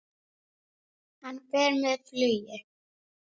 Hann fer með flugi.